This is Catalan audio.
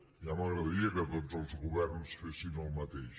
ja m’agradaria que tots els governs fessin el mateix